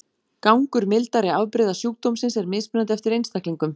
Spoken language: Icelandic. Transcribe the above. Gangur mildari afbrigða sjúkdómsins er mismunandi eftir einstaklingum.